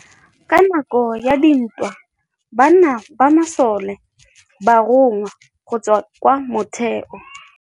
Ka nakô ya dintwa banna ba masole ba rongwa go tswa kwa mothêô.